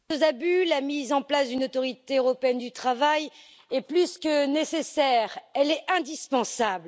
aux abus, la mise en place d'une autorité européenne du travail est plus que nécessaire elle est indispensable.